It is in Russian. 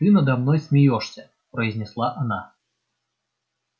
ты надо мной смеёшься произнесла она